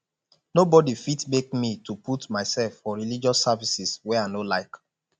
nobody fit make me to put myself for religious services where i no like